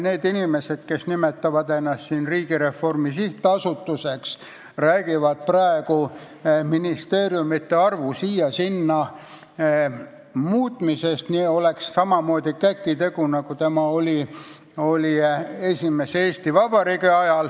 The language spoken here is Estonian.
Need inimesed, kes nimetavad ennast Riigireformi Sihtasutuseks, räägivad praegu ministeeriumide arvu siia-sinna muutmisest, nagu see oleks sama lihtne kui esimese Eesti Vabariigi ajal.